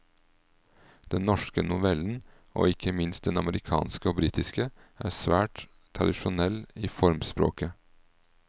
Den norske novellen, og ikke minst den amerikanske og britiske, er svært tradisjonell i formspråket.